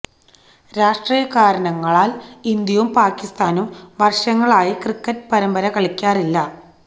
രാഷ്ട്രീയ കാരണങ്ങളാല് ഇന്ത്യയും പാക്കിസ്ഥാനും വര്ഷങ്ങളായി ക്രിക്കറ്റ് പരമ്പര കളിക്കാറില്ല